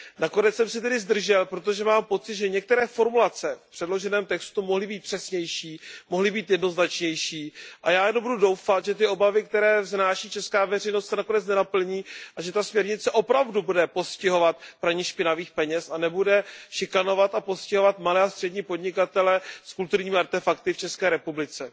Nakonec jsem se tedy zdržel, protože mám pocit, že některé formulace v předloženém textu mohly být přesnější, mohly být jednoznačnější, a já jenom budu doufat, že ty obavy, které vznáší česká veřejnost, se nakonec nenaplní a že ta směrnice opravdu bude postihovat praní špinavých peněz a nebude šikanovat a postihovat malé a střední podnikatele s kulturními artefakty v České republice.